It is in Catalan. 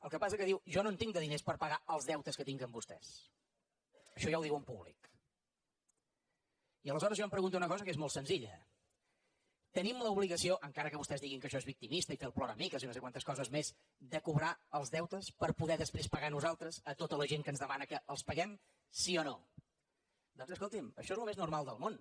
el que passa que diu jo no en tinc de diners per pagar els deutes que tinc amb vostès això ja ho diu en públici aleshores jo em pregunto una cosa que és molt senzilla tenim l’obligació encara que vostès diguin que això és victimista i fer el ploramiques i no sé quantes coses més de cobrar els deutes per poder després pagar nosaltres a tota la gent que ens demana que els paguem sí o no doncs escolti’m això és el més normal del món